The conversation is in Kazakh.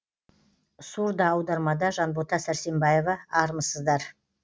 сурдоаудармада жанбота сәрсенбаева армысыздар